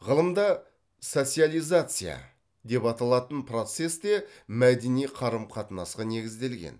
ғылымда социализация деп аталатын процесс те мәдени қарым қатынасқа негізделген